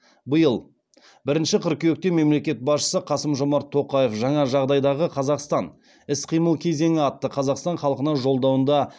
биыл бірінші қыркүйекте мемлекет басшысы қасым жомарт тоқаев жаңа жағдайдағы қазақстан іс қимыл кезеңі атты қазақстан халқына жолдауында